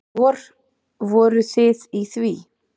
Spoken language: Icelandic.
Vor, voruð þið í því?